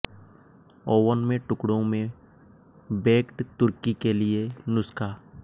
oven में टुकड़ों में बेक्ड तुर्की के लिए नुस्खा